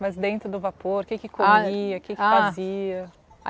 Mas dentro do vapor, o que que comia, o que que fazia?